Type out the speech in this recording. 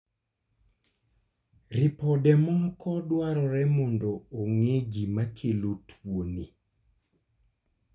Ripode moko dwarore mondo ong'e gima kelo tuo ni